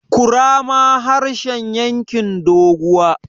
kurama harshen yankin doguwa